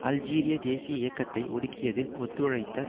அல்ஜீரிய தேசிய இயக்கத்தை ஒடுக்கியதில் ஒத்துழைத்த